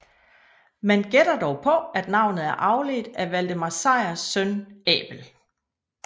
Man gætter dog på at navnet er afledt af Valdemar Sejrs søn Abel